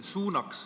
Aitäh!